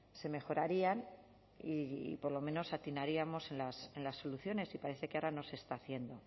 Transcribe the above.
se mejorarían y por lo menos atinaríamos en las soluciones y parece que ahora no se está haciendo